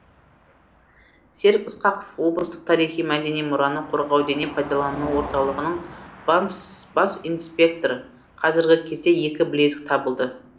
серік ысқақов облыстық тарихи мәдени мұраны қорғау дене пайдалану орталығының бас инспекторы қазіргі кезде екі білезік табылды